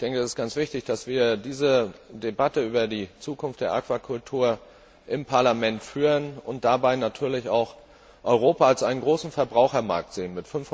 Es ist ganz wichtig, dass wir diese Debatte über die Zukunft der Aquakultur im Parlament führen und dabei natürlich auch Europa als einen großen Verbrauchermarkt sehen.